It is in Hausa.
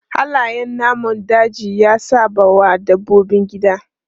Halayen namun daji ya saɓawa dabbobin gida.